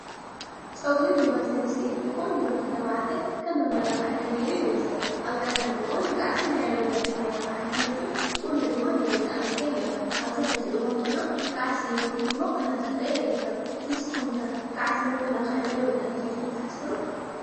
ፀጉሪ ንጓል ኣንስተይቲ ይኹን ንወዲ ተባዕታይ ከም መመላኽዒ ተገይሩ ይውሰድ። ኣብ ቀደም እዋን ጋዕሲ ናይ ኣወዳት መመላኽዒ እንትነብር ቁኖ ድማ ናይ ደቂ ኣንስትዮ ነይሩ። ኣብዚ ሕዚ እዋን ግና ጋዕሲ ይኹን ቁኖ እናጠፈአ ይርከብ። ንስኹም ከ ጋዕሲ መመላኽዒ ናይ ኣወዳት እዩ ኢልኩም ትሓስቡ ዶ?